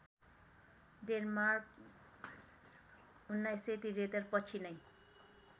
Denmark १९७३ पछि नै